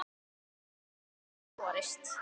Svör hafa ekki borist.